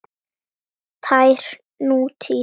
Tær nútíð.